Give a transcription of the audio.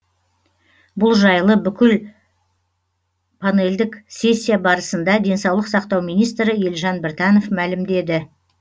бұл жайлы бүгін панельдік сессия барысында денсаулық сақтау министрі елжан біртанов мәлімдеді